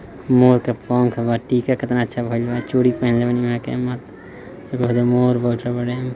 मोर के पंख वा टीका कितना चल रहल वा चूड़ी